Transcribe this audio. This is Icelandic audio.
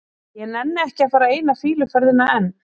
Ég nenni ekki að fara eina fýluferðina enn.